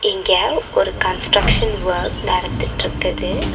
இங்க ஒரு construction work நடந்துட்ருக்குது.